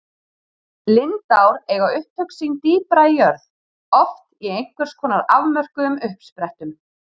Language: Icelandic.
Lindár eiga upptök sín dýpra í jörð, oft í einhvers konar afmörkuðum uppsprettum.